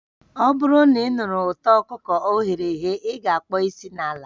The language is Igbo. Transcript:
Ọ bụrụ na ị nụrụ ụtọ ọkụkọ o ghere eghe, ị ga-akpo isi n'ala